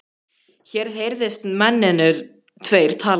Mér heyrðist mennirnir tveir tala við